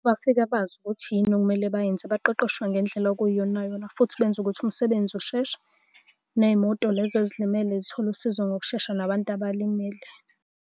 Bafika bazi ukuthi yini ekumele bayenze baqoqoshwe ngendlela okuyiyonayona, futhi benza ukuthi umsebenzi usheshe, ney'moto lezi ezilimele zithole usizo ngokushesha nabantu abalimele.